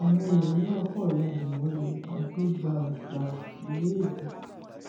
àwọn èèyàn náà kàn ya bò wọn ni àfi gbàù gbàù ìró ìbọn